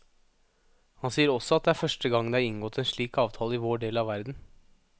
Han sier også at det er første gang det er inngått en slik avtale i vår del av verden.